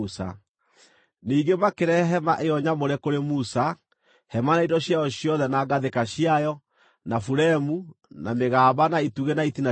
Ningĩ makĩrehe hema ĩyo nyamũre kũrĩ Musa: hema na indo ciayo ciothe na ngathĩka ciayo, na buremu, na mĩgamba, na itugĩ na itina ciayo;